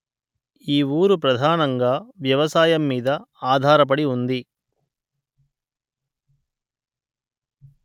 ఈ ఊరు ప్రధానంగా వ్యవసాయం మీద ఆధారపడి ఉంది